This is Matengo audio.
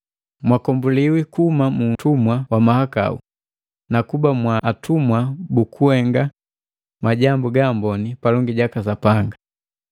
Mwakombuliwi kuhuma mu utumwa wa mahakau, nakuba mwa atumwa bukuhenga majambu gaamboni palongi jaka Sapanga.